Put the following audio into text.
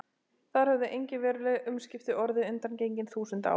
Þar höfðu engin veruleg umskipti orðið undangengin þúsund ár.